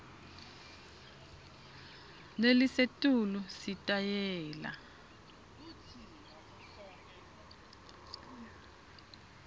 lelisetulu sitayela